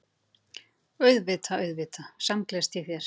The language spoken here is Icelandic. Auðvitað, auðvitað samgleðst ég þér.